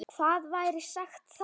Hvað væri sagt þá?